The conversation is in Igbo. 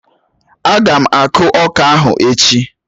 Ága m aku ọka ahụ echi